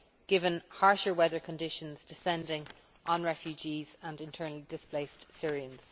given harsher weather conditions descending on refugees and internally displaced Syrians.